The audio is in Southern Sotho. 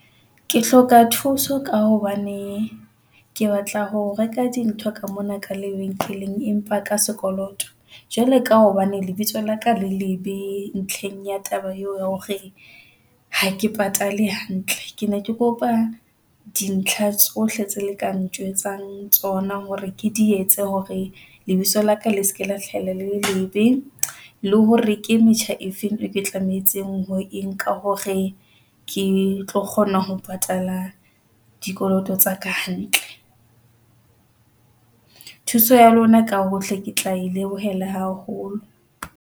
Ke hloka thuso ka hobane ke batla ho reka dintho ka mona ka lebenkeleng, empa ka sekoloto jwale ka hobane lebitso la ka le lebe ntlheng ya taba eo ya hore ha ke patale hantle, ke ne ke kopa dintlha tsohle tse le ka njwetsang tsona hore ke di etse hore lebitso la ka le seke la hlahella leqepheng la hore ke metjha efeng. Ke tlamehetse engwe ka hore ke tlo kgona ho patala dikoloto tsa ka hantle thuso ya lona ka hohle ke tla e lebohela haholo.